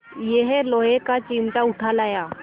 यह लोहे का चिमटा उठा लाया